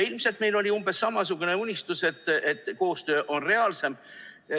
Ilmselt oli meil umbes samasugune unistus, et koostöö on reaalsem.